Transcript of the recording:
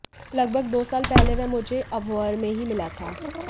लगभग दो साल पहले वह मुझे अबोहर में ही मिला था